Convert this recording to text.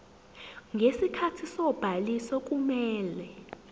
ngesikhathi sobhaliso kumele